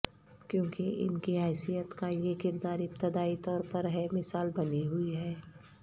کیونکہ ان کی حیثیت کا یہ کردار ابتدائی طور پر بے مثال بنی ہوئی ہے